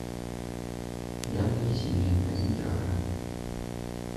яблоки семеренко один килограмм